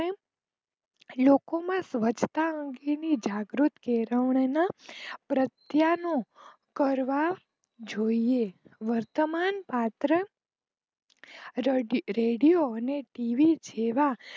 લોકો ના સ્વચ્છતા અંગેના જાગૃત કેળવણી ના પ્રત્યાનો કરવા જોઈએ. વર્તમાન પાત્ર રેડીઓ ટીવી જોવા.